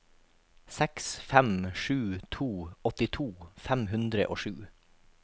seks fem sju to åttito fem hundre og sju